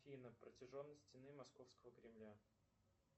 афина протяженность стены московского кремля